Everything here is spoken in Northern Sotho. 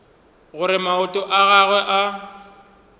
gore maoto a gagwe a